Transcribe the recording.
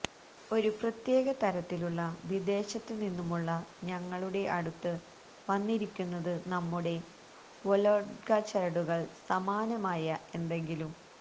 ഒരു പ്രത്യേക തരത്തിലുള്ള വിദേശത്തുനിന്നുമുള്ള ഞങ്ങളുടെ അടുത്ത് വന്നിരിക്കുന്നത് നമ്മുടെ വൊലോഗ്ഡ ചരടുകൾ സമാനമായ എന്തെങ്കിലും